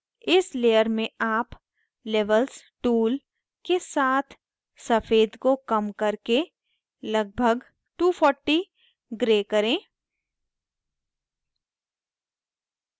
इस layer में आप levels tool के साथ सफ़ेद को कम करके लगभग 240 gray करें